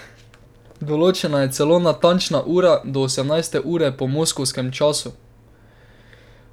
Določena je celo natančna ura, do osemnajste ure po moskovskem času.